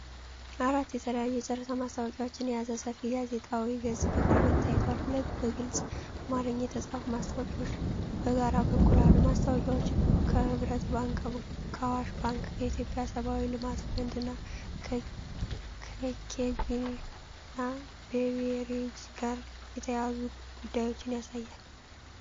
አራት የተለያዩ የጨረታ ማስታወቂያዎችን የያዘ ሰፊ ጋዜጣዊ ገጽ በቅርበት ታይቷል። ሁለት በግልጽ አማርኛ የተጻፉ ማስታወቂያዎች በግራ በኩል አሉ። ማስታወቂያዎቹ ከህብረት ባንክ፣ ከአዋሽ ባንክ፣ ከኢትዮጵያ ሰብዓዊ ልማት ፈንድ እና ከኬግና ቤቬሬጅስ ጋር የተያያዙ ጉዳዮችን ያሳያሉ።